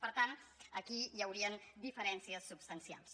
per tant aquí hi haurien diferències substancials